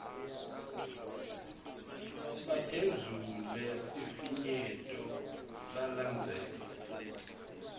baphendvule sifinyeto balandzele